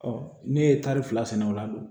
ne ye taari fila sɛnɛ o la dun